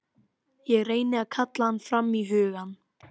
Ég reyni að kalla hann fram í hugann.